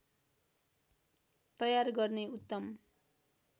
तयार गर्ने उत्तम